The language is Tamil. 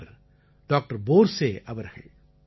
அவர் டாக்டர் போர்ஸே அவர்கள்